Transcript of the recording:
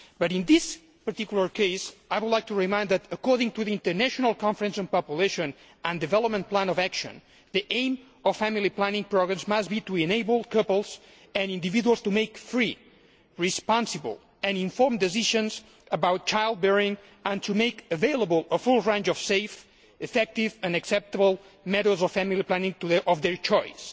In this particular case, I would like to remind Members that, according to the International Conference on Population and Development Plan of Action, the aim of family planning programmes must be to enable couples and individuals to make free, responsible and informed decisions about child bearing and to make available to them a full range of safe, effective and acceptable methods of family planning of their choice.